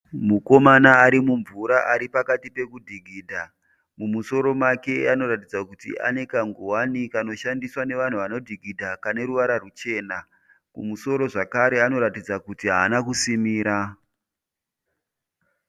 Mukomana arimumvura aripakati pekudhikidha. Mumusoro make anoratidza kuti aneka ngowane kanoshandiswa nevanhu vanodhikidha kaneruvara ruchena. Mumusoro zvakare anoratidza kuti hana kusimira.